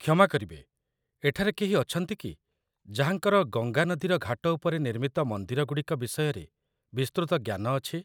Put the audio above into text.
କ୍ଷମା କରିବେ, ଏଠାରେ କେହି ଅଛନ୍ତି କି ଯାହାଙ୍କର ଗଙ୍ଗା ନଦୀର ଘାଟ ଉପରେ ନିର୍ମିତ ମନ୍ଦିରଗୁଡ଼ିକ ବିଷୟରେ ବିସ୍ତୃତ ଜ୍ଞାନ ଅଛି?